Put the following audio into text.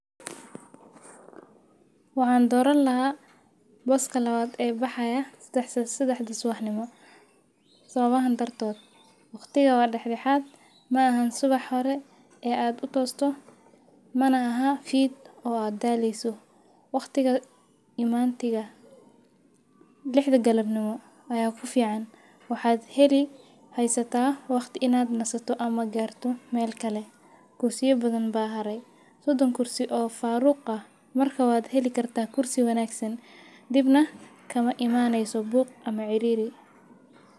Waxaan doran laha baska lawad ee baxaya sexad da subaxnimo sababahan dartod; watiga wa dadaxad maaahan subax hore ee ad ku tosto mana ahan fid oo ad daleyso. Waqtiga imantiga lixdha galabnimo aya kufican waxad heli haysatah waqti inaad nasato ama garto mel kale, kursiya bathan ba hare, sodon kursi oo faruq ah marka wad heli kartah kursi wanagsan dib na kama imaneyso, buq ama ciriri.